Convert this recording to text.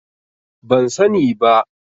Ban sani ba.